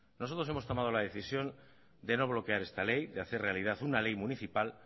nosotros hemos tomado la decisión de no bloquear esta ley de hacer realidad una ley municipal